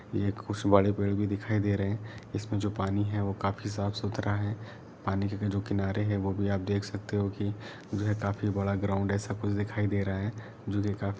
ये खुस वाडे पेड़ भी दिखाई दे रहे है इसमें जो पानी है वोह काफी साफ सुथरा है पानी के जो किनारे है वोह भी आप देख सकते हो कि मुझे काफी बड़ा ग्राउंड ऐसा कुछ दिखाई दे रहा हैं। जो देखा --